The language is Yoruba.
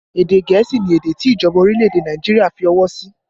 Èdè gẹ̀ẹ́sì ni èdè tí ìjọba orílẹ̀ èdè Nàìjíríà fi ọwọ́ sí